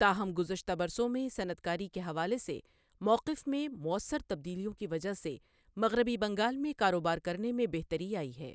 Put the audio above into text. تاہم گزشتہ برسوں میں صنعت کاری کے حوالے سے مؤقف میں موثر تبدیلیوں کی وجہ سے مغربی بنگال میں کاروبار کرنے میں بہتری آئی ہے۔